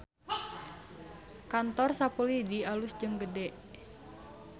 Kantor Sapu Lidi alus jeung gede